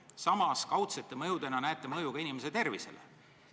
Samas kaudsete mõjudena näete mõju ka inimese tervisele.